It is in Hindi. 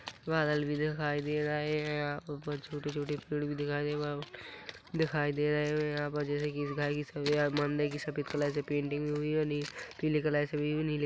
बादल भी दिखाई दे रहे हैं ऊपर छोटे-छोटे पेड़ भी दिखाई दे रहे हैं दिखाई दे रहे हैं यहाँ पर जैसे की मंदिर की सफेद कलर से पेंटिंग हुई है। ]